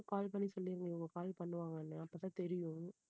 call பண்ணி சொல்லிருங்க இவங்க call பண்ணுவாங்கன்னு அப்போ தான் தெரியும்.